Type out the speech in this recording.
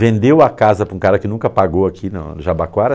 Vendeu a casa para um cara que nunca pagou aqui em Jabaquara.